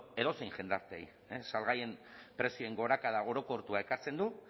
edozein jendarteei salgaien prezioen gorakada orokortua ekartzen du